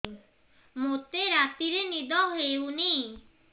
ମୋତେ ରାତିରେ ନିଦ ହେଉନି